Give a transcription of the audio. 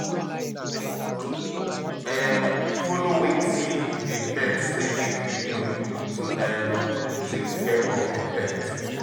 um Follow wetin di vet sey make you do to um take care of di pet